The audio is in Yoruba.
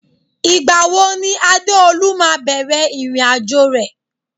Ìgbà wo ni Adeolu máa bẹ̀rẹ̀ irin ajo rẹ